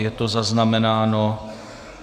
Je to zaznamenáno.